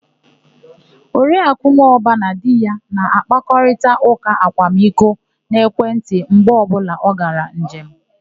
Oriakụ Nwọba na di ya na-akparịta ụ́kà akwamiko n'ekwentị mgbe ọbụla ọ gara njem.